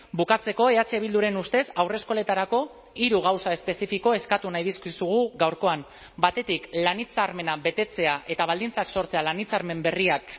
bukatzeko eh bilduren ustez haurreskoletarako hiru gauza espezifiko eskatu nahi dizkizugu gaurkoan batetik lan hitzarmena betetzea eta baldintzak sortzea lan hitzarmen berriak